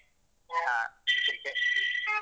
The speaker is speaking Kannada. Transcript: ಹ cricket.